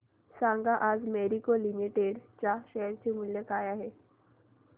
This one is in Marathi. सांगा आज मॅरिको लिमिटेड च्या शेअर चे मूल्य काय आहे